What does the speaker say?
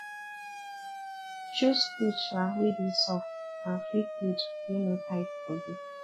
choose cloth um wey dey soft and free cloth wey no tight body